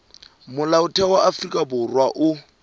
molaotheo wa afrika borwa o